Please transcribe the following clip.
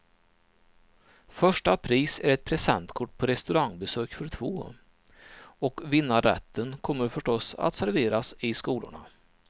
Första pris är ett presentkort på restaurangbesök för två, och vinnarrätten kommer förstås att serveras i skolorna.